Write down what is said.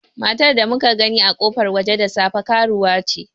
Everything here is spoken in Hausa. Matar da muka gani a kofar waje da safe, karuwa ce.